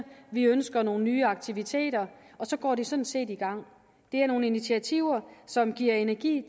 de ønsker nogle nye aktiviteter og så går de sådan set i gang det er nogle initiativer som giver energi